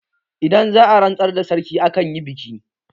Idan za'a rantsar da sarki akan yi biki